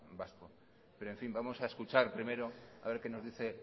vasco pero en fin vamos a escuchar primero a ver qué nos dice